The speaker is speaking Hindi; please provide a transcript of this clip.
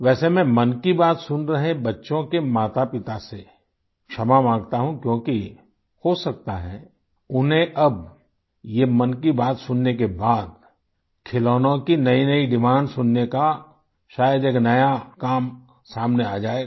वैसे मैं मन की बात सुन रहे बच्चों के मातापिता से क्षमा माँगता हूँ क्योंकि हो सकता है उन्हें अब ये मन की बात सुनने के बाद खिलौनों की नयीनयी डिमांड सुनने का शायद एक नया काम सामने आ जाएगा